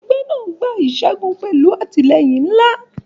Ẹgbẹ́ náà gba ìṣẹ́gun pẹ̀lú àtìlẹ́yìn ńlá.